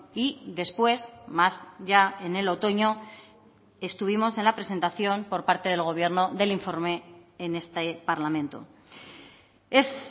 y después más ya en el otoño estuvimos en la presentación por parte del gobierno del informe en este parlamento es